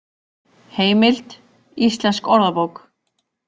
Heimild: Íslensk orðabók.